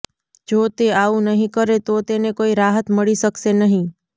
જો તે આવું નહીં કરે તો તેને કોઈ રાહત મળી શકશે નહીં